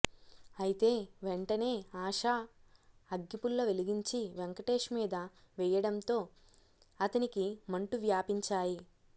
అయితే వెంటనే ఆషా అగ్గిపుల్ల వెలిగించి వెంకటేష్ మీద వేయ్యడంతో అతనికి మంటు వ్యాపించాయి